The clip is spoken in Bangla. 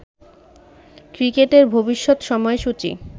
ক্রিকেটের ভবিষ্যৎ সময়সূচি